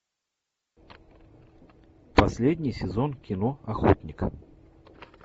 последний сезон кино охотник